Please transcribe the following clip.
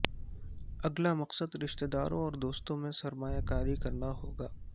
اگلا مقصد رشتہ داروں اور دوستوں میں سرمایہ کاری کرنا ہوگا